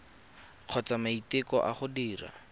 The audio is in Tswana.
kgotsa maiteko a go dira